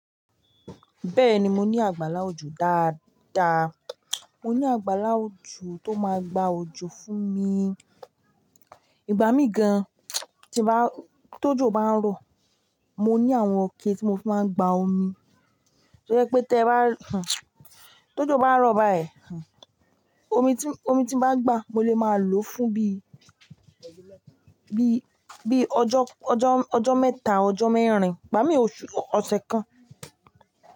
Bẹ́ẹ̀ni, mo ní àgbàlá òjò dáadáa. Mo ní àgbàlá òjò tó máa gba òjò fún mi. Ìbá mi gan, tí bá, tó jò bá ń rọ̀, mo ní àwọn ọ̀kẹ́ tí mo fi máa ń gba omi. Ó yẹ pé tẹ bá, tó jò bá ń rọ̀ báyìí, omi tí, omi tí n bá gba, mo lè máa lo fún bí, bí, bí ọjọ́, ọjọ́, ọjọ́ mẹ́ta, ọjọ́ mẹ́rin, bá mi òṣù, ọ̀sẹ̀ kan.